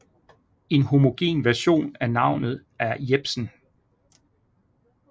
En homogen version af navnet er Jebsen